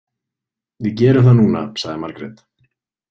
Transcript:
Við gerum það núna, sagði Margrét.